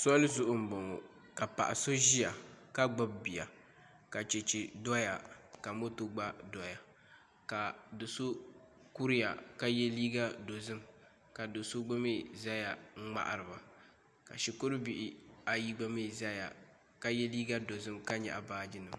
Soli zuɣu n boŋo ka paɣa so ʒiya ka gbubi bia ka ka chɛchɛ doya ka moto gba doya ka do so kuriya ka yɛ liiga dozim ka do so gba mii ʒɛya n ŋmahariba ka shikuru bihi gba mii ʒɛya ka yɛ liiga dozim ka ŋmahariba